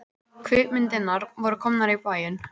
Kvikmyndirnar voru komnar í bæinn.